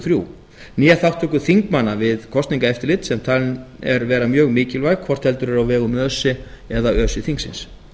þrjú né þátttöku þingmanna við kosningaeftirlit sem talin er vera mjög mikilvæg hvort heldur er á vegum öse eða öse þingsins